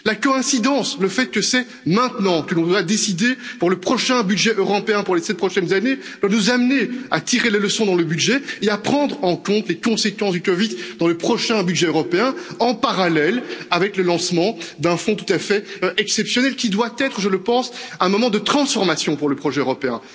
La coïncidence, le fait que c'est maintenant que nous allons décider du prochain budget européen pour les sept prochaines années, doit nous amener à tirer les leçons, dans le budget, et à prendre en compte les conséquences de la COVID dans le prochain budget européen, en parallèle avec le lancement d'un fonds tout à fait exceptionnel qui doit être, je le pense, un moment de transformation pour le projet européen.